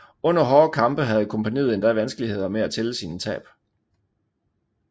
Under hårde kampe havde kompagniet endda vanskeligheder med at tælle sine tab